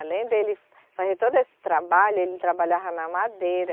Além dele fazer todo esse trabalho, ele trabalhava na madeira.